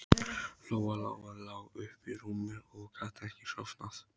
Lóa Lóa lá uppi í rúmi og gat ekki sofnað.